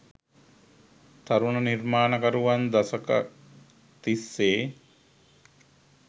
තරුණ නිර්මාණකරුවන් දශකක් තිස්සේ